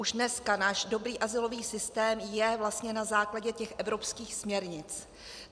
Už dneska náš dobrý azylový systém je vlastně na základě těch evropských směrnic.